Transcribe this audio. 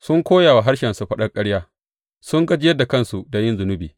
Sun koya wa harshensu faɗar ƙarya; sun gajiyar da kansu da yin zunubi.